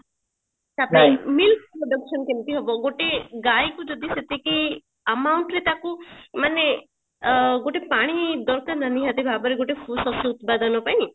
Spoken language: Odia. ତାପରେ milk production କେମତି ହବ ଗୋଟେ ଗଇକୁ ଯଦି ସେତିକି amount ରେ ତାକୁ ମାନେ ଅ ଗୋଟେ ପାଣି ଦରକାର ନା ନିହାତି ଭାବରେ ଗୋଟେ ସୁଶସ୍ୟ ଉତ୍ପାଦନ ପାଇଁ